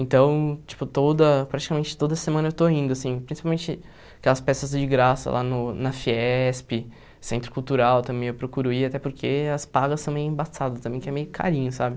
Então, tipo toda praticamente toda semana eu estou indo assim, principalmente aquelas peças de graça lá no na Fiesp, Centro Cultural também eu procuro ir, até porque as pagas são meio embaçadas também, que é meio carinho, sabe?